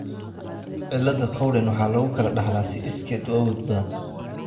cilada Cowden waxaa lagu kala dhaxlaa si iskeed u awood badan.